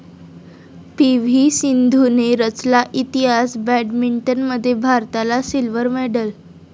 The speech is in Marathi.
पी.व्ही.सिंधूने रचला इतिहास, बॅडमिंटनमध्ये भारताला सिल्व्हर मेडल